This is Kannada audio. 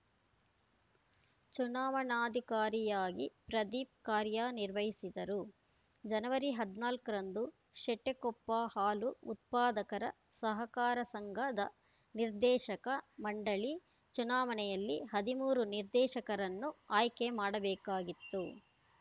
ಚುನಾವಣಾಧಿಕಾರಿಯಾಗಿ ಪ್ರದೀಪ್‌ ಕಾರ್ಯನಿರ್ವಹಿಸಿದರು ಜನವರಿ ಹದಿನಾಲ್ಕರಂದು ಶೆಟ್ಟಕೊಪ್ಪ ಹಾಲು ಉತ್ಪಾದಕರ ಸಹಕಾರ ಸಂಘದ ನಿರ್ದೇಶಕ ಮಂಡಳಿ ಚುನಾವಣೆಯಲ್ಲಿ ಹದಿಮೂರು ನಿರ್ದೇಶಕರನ್ನು ಆಯ್ಕೆ ಮಾಡಬೇಕಾಗಿತ್ತು